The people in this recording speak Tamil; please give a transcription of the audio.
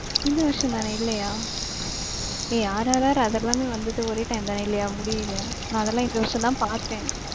இந்த வருஷம் தான இல்லையா? ஏய் RRR அதெல்லாமே வந்துட்டு ஒரே time தான இல்லையா முடியில. நான் அதெல்லாம் இந்த வருஷம் தான் பாத்தேன்.